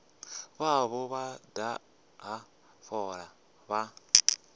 vhavho vha daha fola vha